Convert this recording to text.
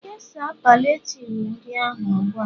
kesaa palliative ndị ahụ ugbu a!